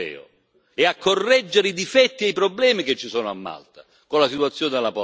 e a correggere i difetti e i problemi che ci sono a Malta, con la situazione della Polonia.